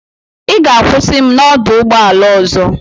Ị ga-akwụsị m na ọdụ ụgbọ ala ọzọ.